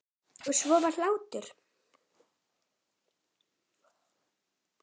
Og svo var hlátur.